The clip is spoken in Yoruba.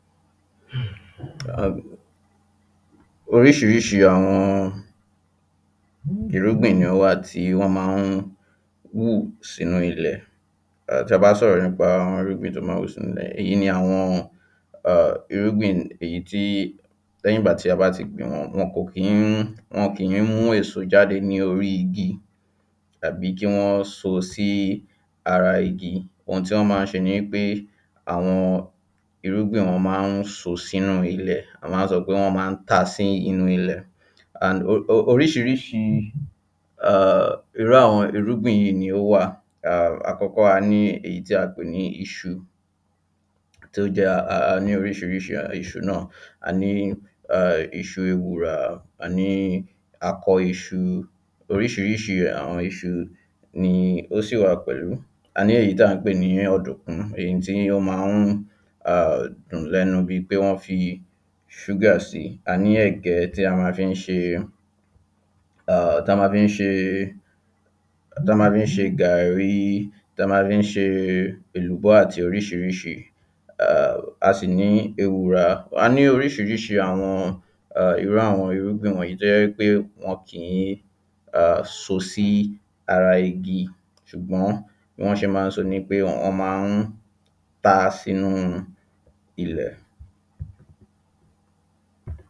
uhm Oríṣiríṣi àwọn ọn irúgbìn ni ó wà tí wọ́n máa ń húù sínú ilẹ̀ [ehn] Tí a bá sọ̀rọ̀ nípa àwọn irúgbìn tí ó máa ń hù sínú ilẹ̀ èyí ni àwọn ehh irúgbìn èyí tí í lẹ́yìn ìgbà tí a bá ti gbìn wọ́n wọn kò kí ń wọn kìí mú èso jáde ní orí igi àbí kíwọ́n so sí í ara igi ohun tí wọ́n máa ń ṣe ni í pé àwọn irúgbìn ọ̀hún máa ń so sínú ilẹ̀ wọ́n máa ń sọ pé wọ́n máa ń ta sínú ilẹ̀ Oríṣiríṣii [ehn] irú àwọn irúgbìn yìí ni ó wà ehm àkọ́kọ́ a ní èyí tí a pè ní iṣu A ní oríṣiríṣi [ahn] iṣu náà a ní ehh iṣu ewùrà a ní akọ iṣu oríṣiríṣi àwọn iṣu nii ó sì wà pẹ̀lú A ní èyí tí à ń pè ní ọ̀dùnkún èyí tí ó máa ahh dùn lẹ́nu bíi pé wọ́n fi i ṣúgà sí i A ní ẹ̀gẹ́ tí a máa fi ń ṣe e ahh ta máa fi ń ṣe e ta máa fi ń ṣe e gàrí í ta ma le ń ṣe e èlùbọ́ àti oríṣiríṣi [ahm] A sì ní ewùrà a ní oríṣiríṣi àwọn ehh irú àwọn irúgbìn wọ̀nyiìí tó jẹ́ í pé wọn kìí ahh so sí ara igi ṣùgbọ́n bí wọ́n ṣe máa ń sọ ni pé wọ́n máa ń ta sínú ilẹ̀